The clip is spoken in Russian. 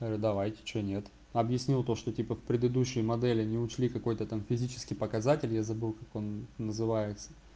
говорю давайте а что нет объяснил то что типа в предыдущей модели не учли какой-то там физический показатель я забыл как он называется